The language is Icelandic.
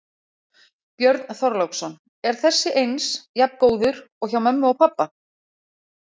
Björn Þorláksson: Er þessi eins, jafn góður og hjá mömmu og pabba?